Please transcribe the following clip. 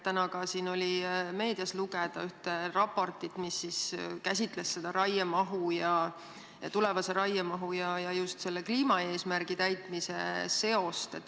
Täna oli võimalik ka meediast lugeda ühte raportit, mis käsitles tulevase raiemahu ja just kliimaeesmärgi täitmise seost.